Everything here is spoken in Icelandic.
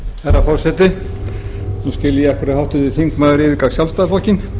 skil ég af hverju háttvirtur þingmaður yfirgaf sjálfstæðisflokkinn